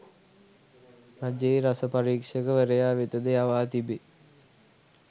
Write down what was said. රජයේ රස පරීක්‍ෂකවරයා වෙතද යවා තිබේ.